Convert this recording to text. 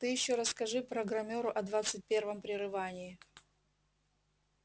ты ещё расскажи программёру о двадцать первом прерывании